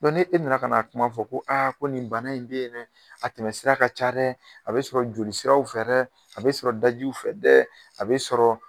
e nana ka na kuma fɔ ko a ko nin bana in bɛ yen dɛ, a tɛmɛsira ka ca dɛ, a bɛ sɔrɔ joli siraw fɛ dɛ a, bɛ sɔrɔ dajiw fɛ dɛ a bɛ sɔrɔ.